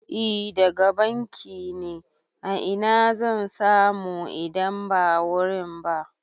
I daga bankin ne, a ina zan samu idan ba wurin ba?